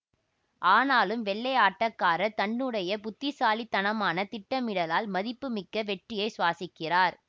ஆனாலும் வெள்ளை ஆட்டக்காரர் தன்னுடைய புத்திசாலித்தனமான திட்டமிடலால் மதிப்புமிக்க வெற்றியைச் சுவாசிக்கிறார்